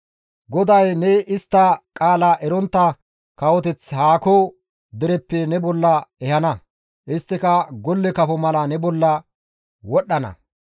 GODAY ne istta qaala erontta kawoteth haako dereppe ne bolla ehana; isttika golle kafo mala ne bolla wodhdhana.